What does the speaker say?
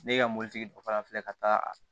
Ne ka mobilitigi dɔ fana filɛ ka taa